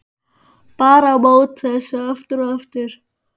Bar á móti þessu aftur og aftur.